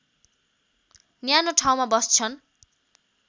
न्यानो ठाउँमा बस्छन्